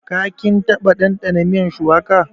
Ka / kin taba ɗandana miyan shuwaka?